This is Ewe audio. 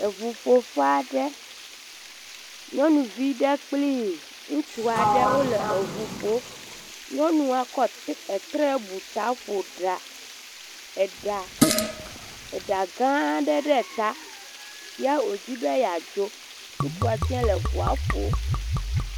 Eŋuƒoƒe aɖe, nyɔnuvi aɖe kple ŋutsu aɖe wole ŋu ƒom, nyɔnua kɔ etre bu ta ƒo eɖa gã aɖe ɖe ta, ya wodi be yeadzo, ŋutsua tse le ŋua ƒom.